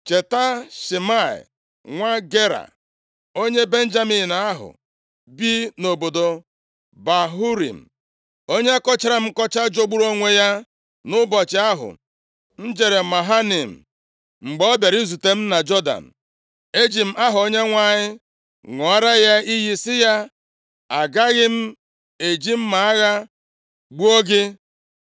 “Cheta Shimei, nwa Gera, onye Benjamin ahụ bi nʼobodo Bahurim, onye kọchara m nkọcha jọgburu onwe ya nʼụbọchị ahụ m jere Mahanaim. Mgbe ọ bịara izute m na Jọdan, eji m aha Onyenwe anyị ṅụọrọ ya iyi sị ya, ‘Agaghị m eji mma agha gbuo gị.’